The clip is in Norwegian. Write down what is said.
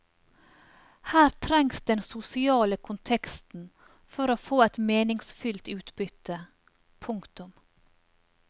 Her trengs den sosiale konteksten for å få et meningsfylt utbytte. punktum